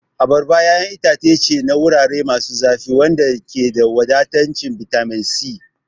Abarba ƴaƴan itace ce na wurare masu zafi wanda ke da wadataccen bitamin C.